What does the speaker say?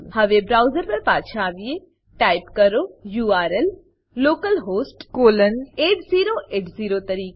હવે બ્રાઉઝર પર પાછા આવીએ ટાઈપ કરો યુઆરએલ યુઆરએલ લોકલહોસ્ટ કોલન 8080 તરીકે